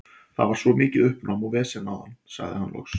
Það var svo mikið uppnám og vesen áðan, sagði hann loks.